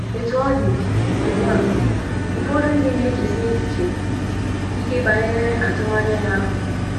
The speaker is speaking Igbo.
Otú ọ dị, ugbu a, ụfọdụ ndị na - echesi echiche ike banyere atụmanya ahụ.